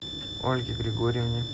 ольге григорьевне